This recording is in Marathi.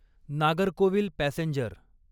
नागरकोविल पॅसेंजर